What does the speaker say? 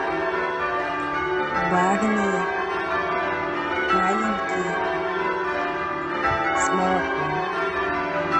барни маленький с молоком